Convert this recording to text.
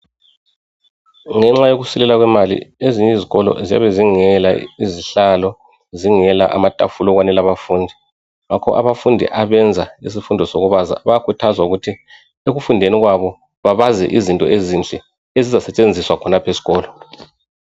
Ngenxa yokusweleka kwemali, ezinye izikolo ziyabe zingela izihlalo, zingela amatafula okwenela abafundi. Ngakho abafundi abenza izifundo zokubaza bayakhuthazwa ukuthi ekufundeni kwabo, babaze izinto ezinhle ezizosetshenziswa khonaph'eskolo.